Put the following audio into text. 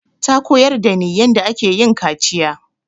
Ta koyar da ni yanda ake yin kaciya